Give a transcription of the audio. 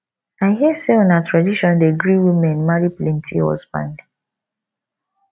i hear sey una tradition dey gree women marry plenty husband